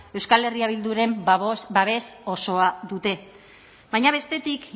euskal herria bilduren babes osoa dute baina bestetik